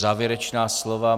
Závěrečná slova.